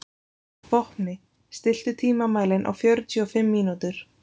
Vopni, stilltu tímamælinn á fjörutíu og fimm mínútur.